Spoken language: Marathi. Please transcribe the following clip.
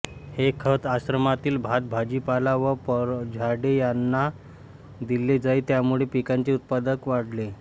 हे खत आश्रमातील भात भाजीपाला व फळझाडे यांना दिले जाई त्यामुळे पिकांचे उत्पादन वाढले